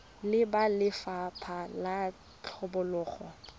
le ba lefapha la tlhabololo